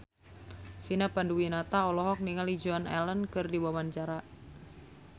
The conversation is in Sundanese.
Vina Panduwinata olohok ningali Joan Allen keur diwawancara